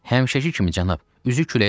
Həmişəki kimi, cənab, üzü küləyə doğru.